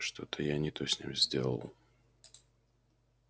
что-то я не то с ним сделал